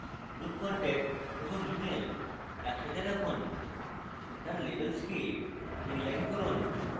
group contact এবং email একসাথে রাখুন তার labels কে inline করুন